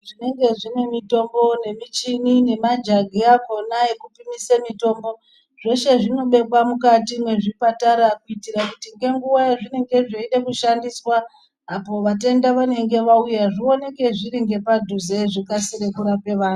Zvinenge zvine mitombo nemuchini nemajagi akona ekuise mitombo zvese zvinobekwa mukati mezvipatara kuitira kuti nenguva yazveda kushandiswa apo vatenda vanenge vauya zvionekwe zviri ngepadhuze apo vakasike kurape antu.